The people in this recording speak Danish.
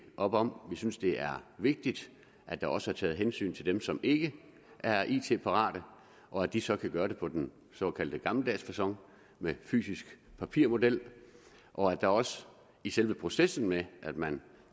op om vi synes det er vigtigt at der også er taget hensyn til dem som ikke er it parate og at de så kan gøre det på den såkaldt gammeldags facon med fysisk papirmodel og at der også i selve processen med at man